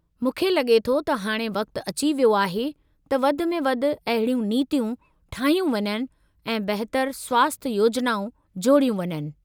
मूंखे लगे॒ थो त हाणे वक़्त अची वियो आहे त वधि में वधि अहिड़ियूं नीतियूं ठाहियूं वञनि ऐं बहितरु स्वास्ठय योजनाऊं जोड़ियूं वञनि।